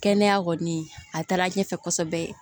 Kɛnɛya kɔni a taara ɲɛfɛ kosɛbɛ